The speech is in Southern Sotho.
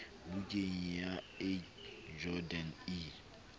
bukeng ya ac jordan e